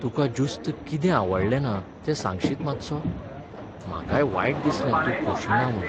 तुकां ज्युस्त कितें आवडलें ना तें सांगशीत मात्सो? म्हाकाय वायट दिसलें तूं खोशी ना म्हूण.